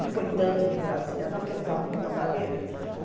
Não foi tanto de Brasília, não, porque eu usava muito aparelho.